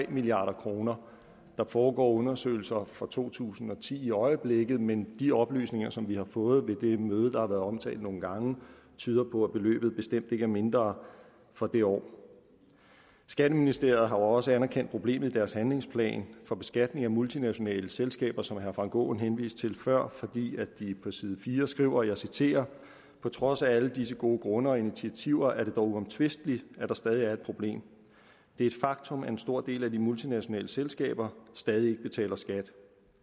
milliard kroner der foregår undersøgelser for to tusind og ti i øjeblikket men de oplysninger som vi har fået ved det møde der har været omtalt nogle gange tyder på at beløbet bestemt ikke er mindre for det år skatteministeriet har også anerkendt problemet i deres handlingsplan for beskatning af multinationale selskaber som herre frank aaen henviste til før fordi de på side fire skriver og jeg citerer på trods af alle disse gode grunde og initiativer er det dog uomtvisteligt at der stadig er et problem det er et faktum at en stor del af de multinationale selskaber stadig ikke betaler skat